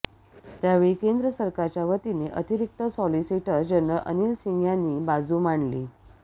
त्यावेळी केंद्र सरकारच्यावतीने अतिरिक्त सॉलिसिटर जनरल अनिल सिंह यांनी बाजू मांडली